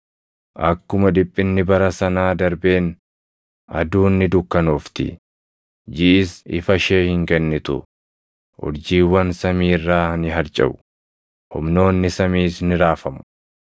“Akkuma dhiphinni bara sanaa darbeen, “ ‘Aduun ni dukkanoofti; jiʼis ifa ishee hin kennitu; urjiiwwan samii irraa ni harcaʼu; humnoonni samiis ni raafamu.’ + 24:29 \+xt Isa 13:10; 34:4\+xt*